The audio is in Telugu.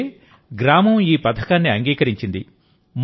ఎందుకంటే గ్రామం ఈ పథకాన్ని అంగీకరించింది